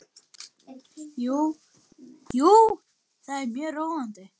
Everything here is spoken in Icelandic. Jú, þetta er mjög róandi.